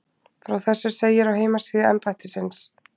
Frá þessu segir á heimasíðu embættisins